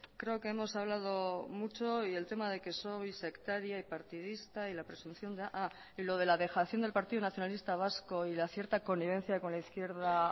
creo que hemos hablado mucho y el tema de que soy sectaria y partidista y la presunción ah y lo de la dejación del partido nacionalista vasco y la cierta connivencia con la izquierda